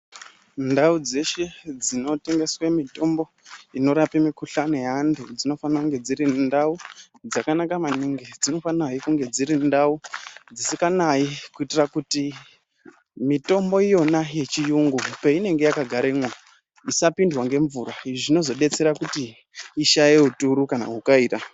Ndau dzeshe dzinotengeswe mitombo inorapa mikuhlani yeantu dzinofane kunge dziri ndau dzakanaka maningi dzinofanahe kunge dziri ndau dzisikanayi kuitira kuti mitombo iyona yechiyungu peinenge yakagara isapindwe ngemvura izvi zvinozodetsere kuti ishaye uturu kana hukaira.